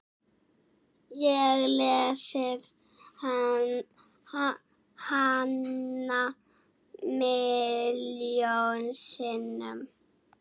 Ég lesið hana milljón sinnum.